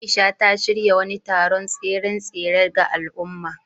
Aisha, ta shirya wani taron tseren tsere ga al’umma.